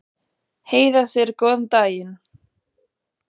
Heiða segir góðan daginn!